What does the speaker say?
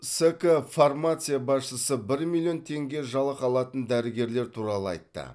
ск фармация басшысы бір миллион теңге жалақы алатын дәрігерлер туралы айтты